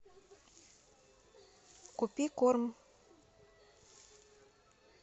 купи корм